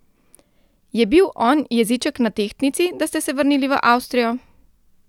Je bil on jeziček na tehtnici, da ste se vrnili v Avstrijo?